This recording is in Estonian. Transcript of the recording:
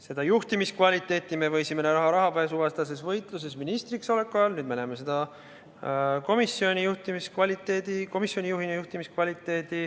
Seda juhtimiskvaliteeti võisime me näha rahapesuvastases võitluses ministriks oleku ajal, nüüd näeme seda komisjoni juhina.